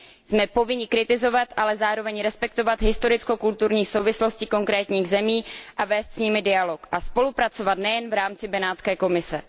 Jsme povinni kritizovat, ale zároveň respektovat historicko kulturní souvislosti konkrétních zemí a vést s nimi dialog, a spolupracovat nejen v rámci Benátského komise.